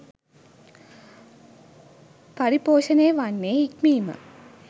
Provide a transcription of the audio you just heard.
පරිපෝෂණය වන්නේ හික්මීම